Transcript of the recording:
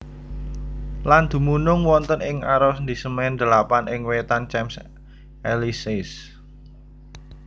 Lan dumunung wonten ing arondisemen delapan ing wétan Champs Élysées